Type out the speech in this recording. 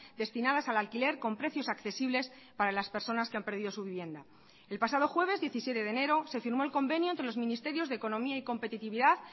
destinadas al alquiler con precios accesibles para las personas que han perdido su vivienda el pasado jueves diecisiete de enero se firmó el convenio entre los ministerios de economía y competitividad